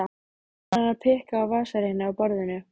Farin að pikka á vasareikni á borðinu.